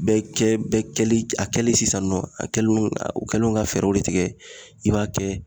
Bɛɛ kɛli a kɛli sisan nɔ a kɛlo u kɛlen do ka fɛɛrɛw de tigɛ i b'a kɛ